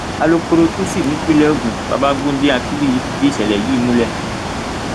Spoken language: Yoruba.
alukóró tuci nípínlẹ ogun babagundé akínbíyì fìdí ìṣẹlẹ yìí múlẹ